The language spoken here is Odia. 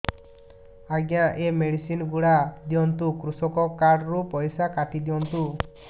ଆଜ୍ଞା ଏ ମେଡିସିନ ଗୁଡା ଦିଅନ୍ତୁ କୃଷକ କାର୍ଡ ରୁ ପଇସା କାଟିଦିଅନ୍ତୁ